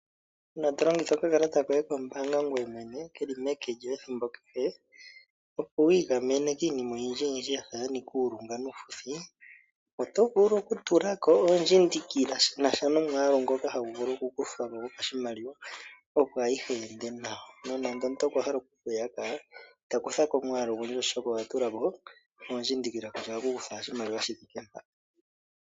Uuna to longitha okakalata koye kombaanga ngoye mwene ke li meke lyoye ethimbo kehe, opo wi igamene kiinima oyindjiyindji ya nika uulunga nuufuthi, oto vulu okutula ko oondjindikila shi na sha nomwaalu ngoka hagu vulu okukutha ko gopashimaliwa, opo ayihe yi ende nawa. Nonando omuntu okwa hala oku ku yaka ita kutha ko omwaalu ogundji, oshoka owa tula ko oondjindikila kutya ohaku kutwa owala oshimaliwa shi thike mpa.